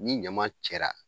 Ni ɲaman cɛra